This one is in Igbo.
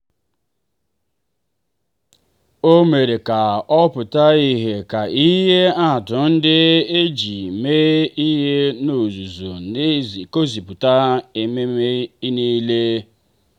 o mere ka ọ pụta ìhè ka ihe atụ ndị e ji mee ihe n’ọzụzụ si egosipụtaghị omenala niile.